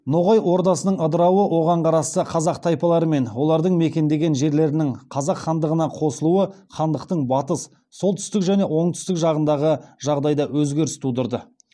ноғай ордасының ыдырауы оған қарасты қазақ тайпалары мен олардың мекендеген жерлерінің қазақ хандығына қосылуы хандықтың батыс солтүстік және оңтүстік жағындағы жағдайда өзгеріс тудырды